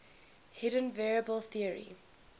hidden variable theory